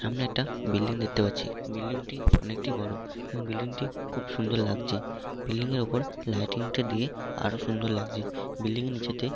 সামনে একটা বিল্ডিং দেখতে পাচ্ছি ।বিল্ডিং টি অনেকটি বড়এবং বিল্ডিং টি খুব সুন্দর লাগছে বিল্ডিং এর ওপর লাইটিং টা দিয়ে আরো সুন্দর লাগছে বিল্ডিং এর নীচেতে --